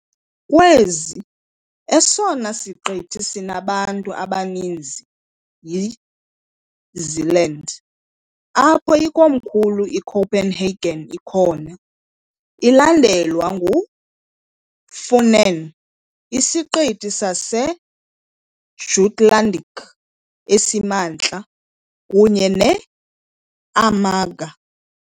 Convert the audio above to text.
Kwezi, esona siqithi sinabantu abaninzi yiZealand, apho ikomkhulu iCopenhagen ikhona, ilandelwa nguFunen, iSiqithi saseJutlandic esiMantla, kunye neAmager .